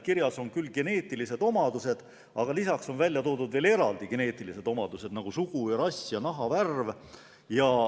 Kirjas on "geneetilised omadused", aga lisaks on ka eraldi välja toodud mitu geneetilist omadust, nagu sugu, rass ja nahavärv.